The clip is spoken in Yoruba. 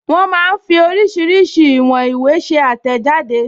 Wọ́n máa ń fí oríṣiríṣi ìwọn ìwé ṣe àtẹ̀jáde